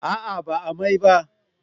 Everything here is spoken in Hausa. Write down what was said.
A'a ba a mai ba